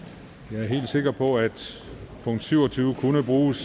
jeg er helt sikker på at punkt syv og tyve kunne bruges